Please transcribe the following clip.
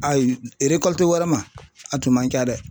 Ayi wɛrɛ ma a tun man ca dɛ.